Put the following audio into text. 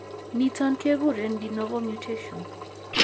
Niton keguren de novo mutation